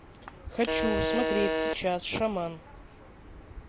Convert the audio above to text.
хочу смотреть сейчас шаман